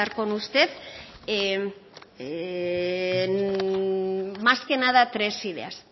con usted más que nada tres ideas